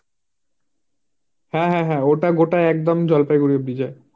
হাঁ হাঁ হাঁ, হাঁ হাঁ হাঁ, ওটা গোটা একদন জলপাইগুড়ি bride এ ।